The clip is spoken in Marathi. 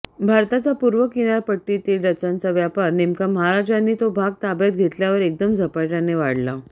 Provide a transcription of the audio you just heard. भारताच्या पूर्व किनारपट्टीतील डचांचा व्यापार नेमका महाराजांनी तो भाग ताब्यात घेतल्यावर एकदम झपाट्याने वाढला